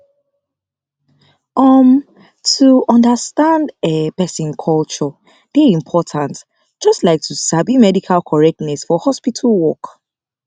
umm to understand um person culture dey important just like to sabi medical correctness for hospital work